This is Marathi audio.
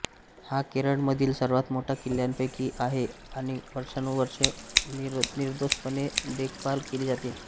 हा केरळमधील सर्वात मोठा किल्ल्यांपैकी आहे आणि वर्षानुवर्षे निर्दोषपणे देखभाल केली जाते